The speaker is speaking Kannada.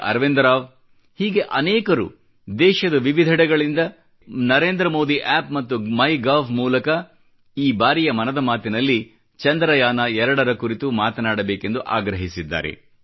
ಅರವಿಂದ್ ರಾವ್ ಹೀಗೆ ಅನೇಕರು ದೇಶದ ವಿವಿದೆಡೆಗಳಿಂದ ಹಲವಾರು ಜನ ನನಗೆ ನರೇಂದ್ರಮೋದಿ App ಮತ್ತು ಮೈಗೋವ್ ಮೂಲಕ ಈ ಬಾರಿಯ ಮನದ ಮಾತಿನಲ್ಲಿ ಚಂದ್ರಯಾನ ಎರಡರ ಕುರಿತು ಮಾತನಾಡ ಬೇಕೆಂದು ಆಗ್ರಹಿಸಿದ್ದಾರೆ